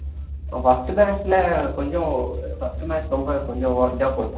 first match ல கொஞ்சம் first match ரொம்ப கொஞ்சம் இதா போட்டுட்டான்